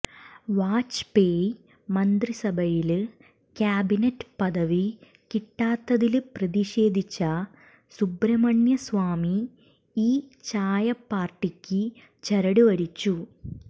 വാജ്പേയി മന്ത്രിസഭയില് ക്യാബിനറ്റ് പദവി കിട്ടാത്തതില് പ്രതിഷേധിച്ച സുബ്രഹ്മണ്യ സ്വാമി ഈ ചായപ്പാര്ട്ടിക്ക് ചരട് വലിച്ചു